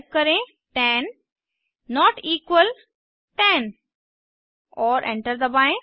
type करें 10 not equal 10 और enter दबाएं